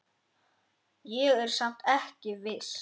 Ég er samt ekki viss.